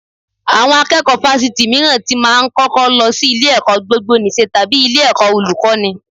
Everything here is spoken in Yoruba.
Àwọn akẹ́kọ̀ọ́ Fáṣítì mìíràn tí máa ń kọ́kọ́ lọ sí ilé-ẹ̀kọ́ gbogboníṣe tàbí ilé-ẹ̀kọ́ Olùkọ́ní